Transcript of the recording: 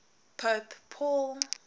pope paul